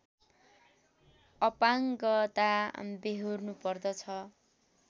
अपाङ्गता व्यहोर्नु पर्दछ